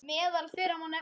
Meðal þeirra má nefna